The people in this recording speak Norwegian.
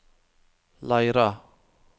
Leira